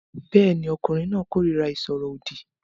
Bẹ́ẹ̀ ni, ọkùnrin náà kórìíra ìsọ̀rọ̀ òdì